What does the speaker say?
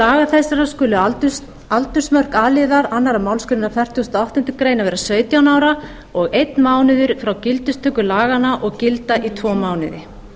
laga þessara skulu aldursmörk a liðar tvær málsgreinar fertugustu og áttundu grein vera sautján ára og einn mánuður frá gildistöku laganna og gilda í tvo mánuði